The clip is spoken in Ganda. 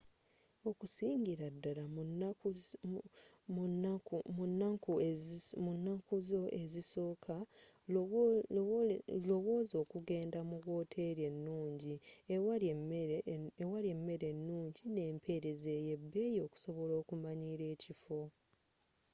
okusingira ddala mu nanku zo ezisoka lowozza okuggendda mu woteri enungi ewali emere enungi n'emperezza ey'ebbeyi okusobola okumanyila ekifo